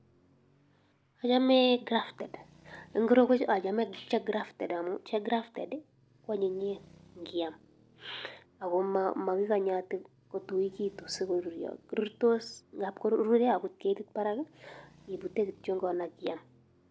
Achame grafted eng korotwechu achame che amun che grafted ko anyinyen ngiam ako makinganye ati kotuekitu so koruryo, tab koruure akot ketit barak ipute kityongon akiam.